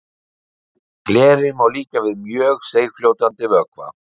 Gleri má líkja við mjög seigfljótandi vökva.